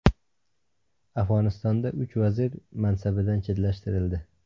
Afg‘onistonda uch vazir mansabidan chetlashtirildi.